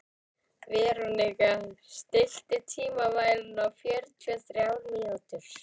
Veróníka, stilltu tímamælinn á fjörutíu og þrjár mínútur.